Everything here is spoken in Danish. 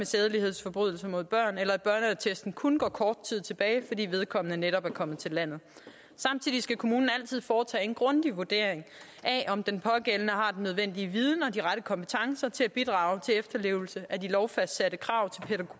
sædelighedsforbrydelser mod børn eller at børneattesten kun går kort tid tilbage fordi vedkommende netop er kommet til landet samtidig skal kommunen altid foretage en grundig vurdering af om den pågældende har den nødvendige viden og de rette kompetencer til at bidrage til efterlevelse af de lovfastsatte krav